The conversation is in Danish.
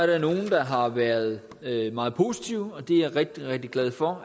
der nogen der har været meget positive og det er jeg rigtig rigtig glad for